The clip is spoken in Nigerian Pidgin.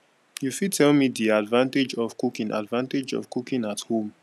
you fit tell me di advantage of cooking advantage of cooking at home